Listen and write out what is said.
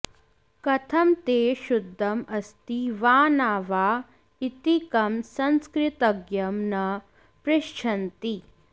कथं ते शुद्धम् अस्ति वा न वा इति कं संस्कृतज्ञं न पृच्छन्ति